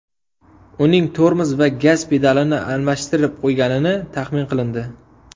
Uning tormoz va gaz pedalini adashtirib qo‘yganini taxmin qilindi.